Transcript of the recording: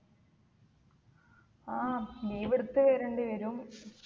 ആ leave എടുത്ത് വരണ്ടി വരും